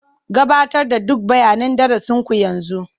Gabatar da duk bayanan darasin ku yanzu.